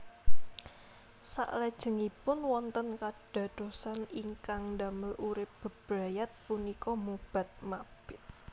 Saklajengipun wonten kadadosan ingkang ndamel urip bebrayat punika mobat mabit